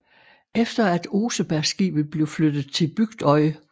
Efter at Osebergskibet blev flyttet til Bygdøy